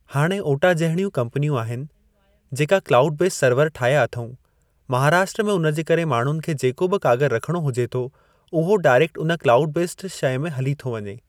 हाणे ओटा जहिड़ियूं कम्पनियूं आहिनि जेका क्लाऊड बेस सर्वर ठाहिया अथऊं महाराष्ट्र में हुन जे करे माण्हुनि खे जेको बि कागरु रखणो हुजे थो ऊहो डाइरेक्ट हुन क्लाऊड बेस्ड शइ में हली थो वञे।